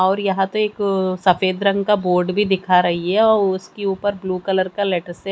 और यहां तो एक सफेद रंग का बोर्ड भी दिखा रही है और उसके ऊपर ब्लू कलर के लेटर से--